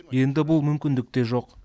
енді бұл мүмкіндік те жоқ